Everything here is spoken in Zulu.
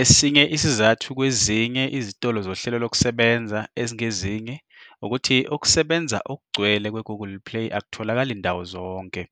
Esinye isizathu kwezinye izitolo zohlelo lokusebenza ezingezinye ukuthi ukusebenza okugcwele kwe-Google Play akutholakali ndawo zonke.